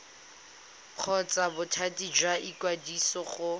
kgotsa bothati jwa ikwadiso go